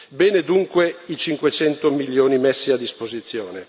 Bene, dunque, i 500 milioni messi a disposizione.